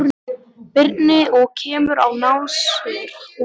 Birni og kemur á nasir honum.